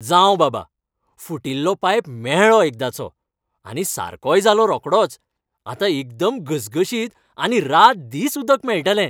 जावं बाबा, फुटिल्लो पायप मेळ्ळो एकदांचो. आनी सारकोय जालो रोकडोच. आतां एकदम घसघशीत आनी रात दीस उदक मेळटलें.